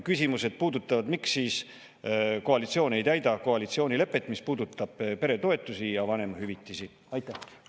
Küsimused puudutavad seda, miks koalitsioon ei täida peretoetuste ja vanemahüvitise puhul koalitsioonilepet.